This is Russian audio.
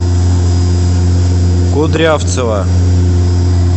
кудрявцева